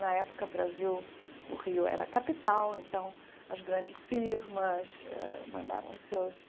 Na época, o Brasil, o Rio, era a capital, então as grandes firmas ãh mandavam seus